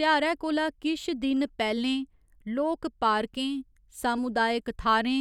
ध्यारै कोला किश दिन पैह्‌‌‌लें लोक पार्कें, सामुदायक थाह्‌रें,